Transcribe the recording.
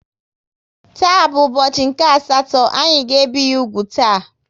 Taa bụ ụbọchị nke asatọ, anyị ga ebi ya úgwù taa